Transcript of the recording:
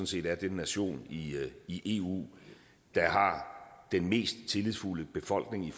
set er den nation i eu der har den mest tillidsfulde befolkning i